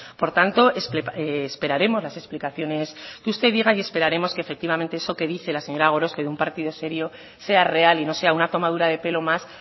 por tanto esperaremos las explicaciones que usted diga y esperaremos que efectivamente eso que dice la señora gorospe de un partido serio sea real y no sea una tomadura de pelo más